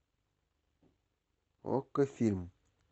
окко фильм